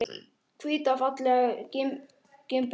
Hvíta fallega gimbur, hvíta.